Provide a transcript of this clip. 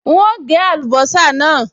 N óò gé àlùbọ́sà náà